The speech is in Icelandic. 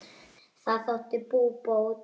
Það þótti búbót.